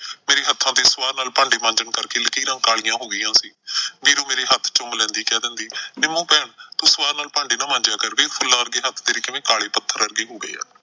ਮੇਰੇ ਹੱਥਾਂ ਤੇ ਸੁਆਹ ਨਾਲ ਭਾਂਡੇ ਮਾਂਜਣ ਕਰਕੇ ਲਕੀਰਾਂ ਕਾਲੀਆਂ ਹੋ ਗਈਆਂ ਸੀ। ਵੀਰੋ ਮੇਰੇ ਹੱਥ ਚੁੰਮ ਲੈਂਦੀ, ਕਹਿ ਦਿੰਦੀ ਨਿੰਮੋ ਭੈਣ ਤੂੰ ਸੁਆਹ ਨਾਲ ਭਾਂਡੇ ਨਾ ਮਾਂਜਿਆ ਕਰ ਵੇਖ ਫੁੱਲਾਂ ਵਰਗੇ ਹੱਥ ਤੇਰੇ ਕਿਵੇਂ ਕਾਲੇ ਪੱਥਰ ਵਰਗੇ ਹੋ ਗਏ ਆ।